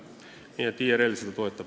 Nii et IRL seda toetab.